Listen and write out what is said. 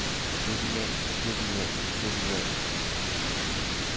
jovial jovial jovial